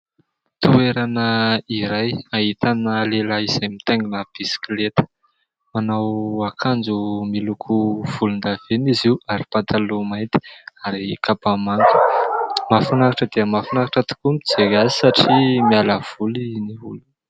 Toerana iray ahitana lehilahy izay mitaingina bisikileta, manao akanjo miloko volondavenona izy io ary pataloha mainty ary kapa manga. Mahafinaritra dia mahafinaritra tokoa mijery azy satria miala voly ny olona.